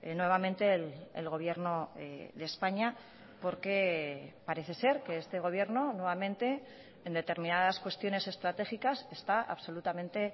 nuevamente el gobierno de españa porque parece ser que este gobierno nuevamente en determinadas cuestiones estratégicas está absolutamente